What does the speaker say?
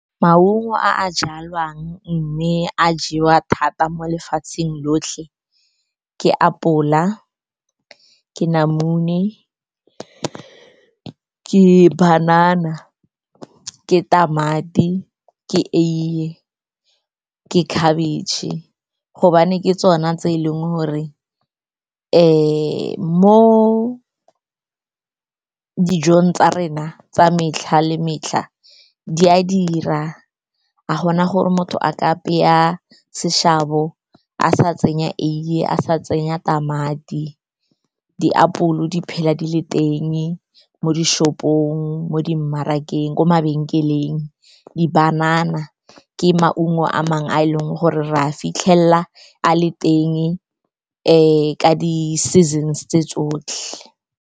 Maungo a jalwang mme a jewa thata mo lefatsheng lotlhe ke apola, ke namune, ke banana, ke tamati, ke eiye, ke khabetšhe, gobane ke tsona tse eleng gore mo dijong tsa rena tsa metlha le metlha di a dira. Ga gona gore motho a ka apeya seshabo a sa tsenya eiye, a sa tsenya tamati. Diapole di phela di le teng mo di-shop-ong, mo di mmarakeng, ko mabenkeleng. Di-banana ke maungo a mangwe a e leng gore re a fitlhelela a le teng ka di-seasons tse tsotlhe.